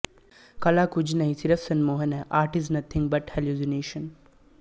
ਕਲਾ ਕੁੱਝ ਨਹੀਂ ਸਿਰਫ਼ ਸੰਮੋਹਨ ਹੈ art is nothing but hallucination